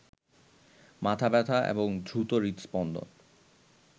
মাথা ব্যথা এবং দ্রুত হৃদস্পন্দন